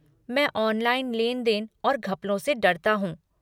मैं ऑनलाइन लेन देन और घपलों से डरता हूँ।